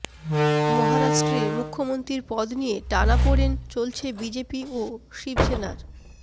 মহারাষ্ট্রে মুখ্যমন্ত্রীর পদ নিয়ে টানাপোড়েন চলছে বিজেপি ও শিবসেনার